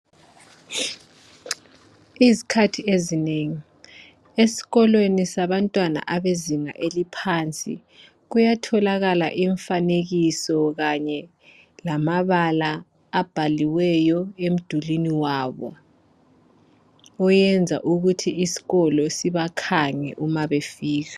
Izikhathi ezinengi esikolweni sabantwana abezinga eliphansi kuyatholakala imfanekiso kanye lamabala abhaliweyo emdulwini wabo oyenza ukuthi isikolo sibakhange umabefika.